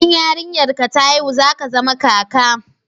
in yarinyar ka ta haihu za ka zama kaka